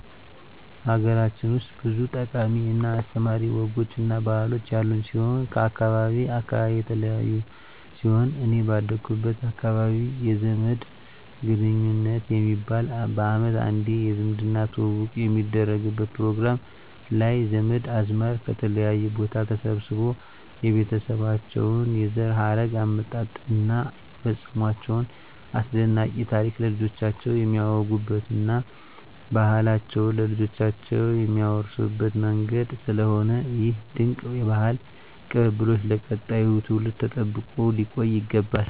ሀገራችን ውስጥ ብዙ ጠቃሚ እና አስተማሪ ወጎች እና ባህሎች ያሉን ሲሆን ከአካባቢ አካባቢ የተለያዩ ሲሆን እኔ ባደኩበት አካባቢ የዘመድ ግንኙት የሚባል በአመት አንዴ የዝምድና ትውውቅ የሚደረግበት ፕሮግራም ላይ ዘመድ አዝማድ ከተለያየ ቦታ ተሰባስቦ የቤተሰባቸውን የዘር ሀረግ አመጣጥ እና የፈፀሟቸውን አስደናቂ ታሪክ ለልጆቻቸው የሚያወጉበት እና ባህላቸውን ለልጆቻቸው የሚያወርሱበት መንገድ ስለሆነ ይህ ድንቅ የባህል ቅብብሎሽ ለቀጣዩ ትውልድ ተጠብቆ ሊቆይ ይገባል።